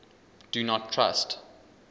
do not trust